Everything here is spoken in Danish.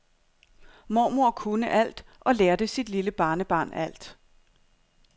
Mormor kunne alt og lærte sit lille barnebarn alt.